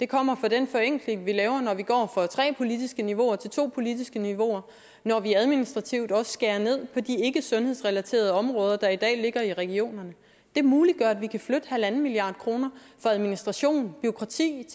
kommer fra den forenkling vi laver når vi går fra tre politiske niveauer til to politiske niveauer når vi administrativt også skærer ned på de ikkesundhedsrelaterede områder der i dag ligger i regionerne det muliggør at vi kan flytte en halv milliard kroner fra administration og bureaukrati